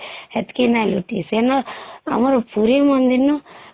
ହେତକୀ ନାଇଁ ଲୁଟିସ ସେଇନ ସେଠୁ ପୁରୀ ମନ୍ଦିର ନୁ